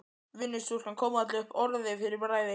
Vinnustúlkan kom varla upp orði fyrir bræði.